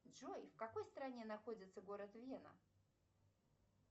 джой в какой стране находится город вена